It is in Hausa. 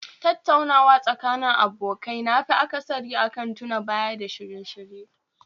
Tattaunawa Tsakanin abokai nafi akasari akan tuna Baya da shirye-shirye